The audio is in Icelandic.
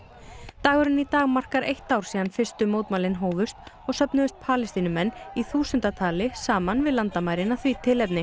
dagurinn í dag markar eitt ár síðan fyrstu mótmælin hófust og söfnuðust Palestínumenn í þúsunda tali saman við landamærin að því tilefni